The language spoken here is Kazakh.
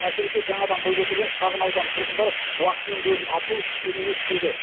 әсіресе жаңадан бой көтерген шағын аудан тұрғындары уақытының көбін автобус күтумен өткізеді